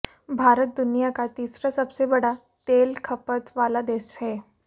भारत दुनिया का तीसरा सबसे बड़ा तेल खपत वाला देश है